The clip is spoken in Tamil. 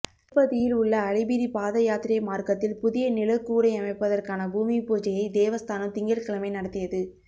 திருப்பதியில் உள்ள அலிபிரி பாத யாத்திரை மாா்க்கத்தில் புதிய நிழற்கூடை அமைப்பதற்கான பூமி பூஜையை தேவஸ்தானம் திங்கள்கிழமை நடத்தியது